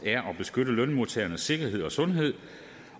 er at beskytte lønmodtagernes sikkerhed og sundhed